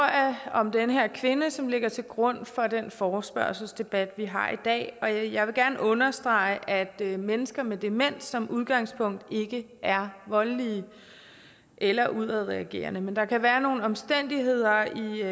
om den her kvinde som ligger til grund for den forespørgselsdebat vi har i dag og jeg vil gerne understrege at at mennesker med demens som udgangspunkt ikke er voldelige eller udadreagerende men der kan være nogle omstændigheder